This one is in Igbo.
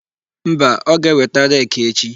Mba, ọ ga-eweta reki echi.